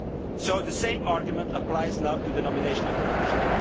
So the same argument applies now to the nomination of the Commission.